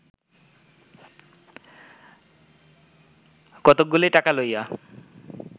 কতকগুলি টাকা লইয়া